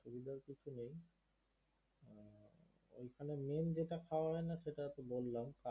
ওখানে main যেটা খাওয়া হয় না সেটা তো বললাম